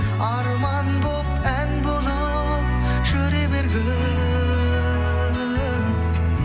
арман болып ән болып жүре бергің